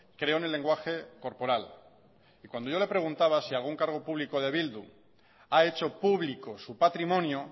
creo en el lenguaje corporal y cuando yo le preguntaba si algún cargo público de bildu ha hecho público su patrimonio